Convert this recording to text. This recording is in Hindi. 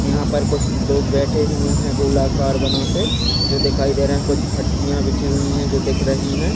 यहाँ पर कुछ लोग बैठे हुए है गोल आकार बना के जो दिखाई दे रहे कुछ फटिया बिछी हुई है जो दिख रही हैं।